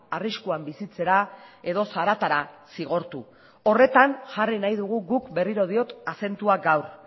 arriskuan bizitzera edo zaratara zigortu horretan jarri nahi dugu guk berriro diot azentua gaur